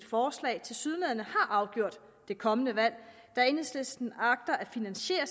forslag tilsyneladende har afgjort det kommende valg da enhedslisten agter at finansiere